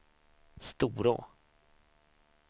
Storå